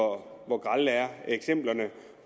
hvor grelle eksemplerne er